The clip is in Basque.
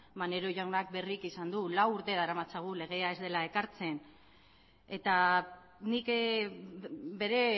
maneiro jaunak berriki esan du lau urte daramatzagu legea ez dela ekartzen eta nik bere